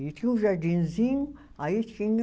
E tinha um jardinzinho, aí tinha.